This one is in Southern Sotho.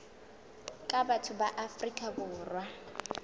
ka batho ba afrika borwa